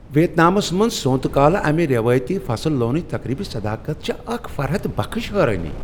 ویتنامس منز سونٛتہ کالہ امہ روایتی فصل لونن تقریبچ صداقت چھےٚ اکھ فرحت بخش حیرٲنی۔